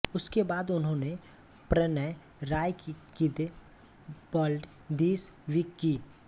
उसके बाद उन्होंने प्रणय राय की की द वर्ल्ड दिस वीक की